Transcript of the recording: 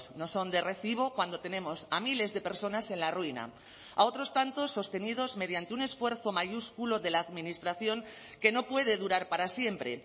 no son de recibo cuando tenemos a miles de personas en la ruina a otros tantos sostenidos mediante un esfuerzo mayúsculo de la administración que no puede durar para siempre